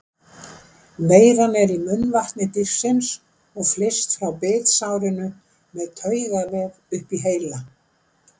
Veiran er í munnvatni dýrsins og flyst frá bitsárinu með taugavef upp í heila.